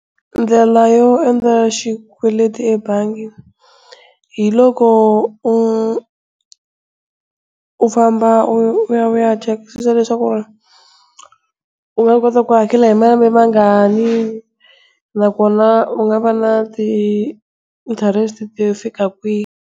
Ndlela yo endla xikweleti ebangi hi loko u u famba u ya u ya chekisisa leswaku u nga kota ku hakela hi malembe mangani na kona u nga va na ti-interest-e to fika kwihi?